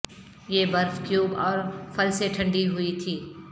یہ برف کیوب اور پھل سے ٹھنڈی ہوئی تھی